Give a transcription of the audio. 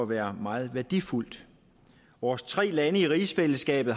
at være meget værdifuldt vores tre lande i rigsfællesskabet